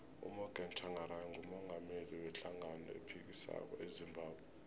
umorgan tshangari ngumungameli we hlangano ephikisako ezimbabwe